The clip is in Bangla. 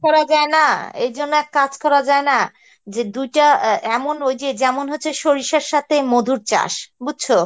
করা যায় না এইজন্য এক কাজ করা যায় না, যে দুটা আ এমন ঐযে যেমন হচ্ছে সরিষার সথে মধুর চাস, বুজছো?